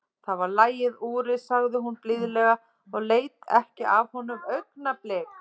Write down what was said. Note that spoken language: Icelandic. Það var lagið, Úri, sagði hún blíðlega og leit ekki af honum augnablik.